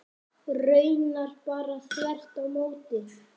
Raunar bara þvert á móti.